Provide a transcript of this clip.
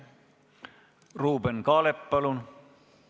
Ruuben Kaalep, palun!